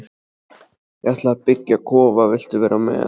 Ég ætla að byggja kofa, viltu vera með?